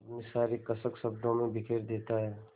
अपनी सारी कसक शब्दों में बिखेर देता है